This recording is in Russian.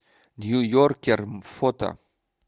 ньюйоркер фото